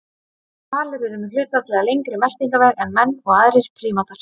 Hvalir eru með hlutfallslega lengri meltingarveg en menn og aðrir prímatar.